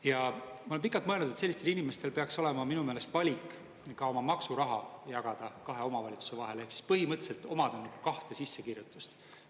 Ja ma olen pikalt mõelnud, et sellistel inimestel peaks olema minu meelest valik ka oma maksuraha jagada kahe omavalitsuse vahel ehk siis põhimõtteliselt omada kahte sissekirjutust.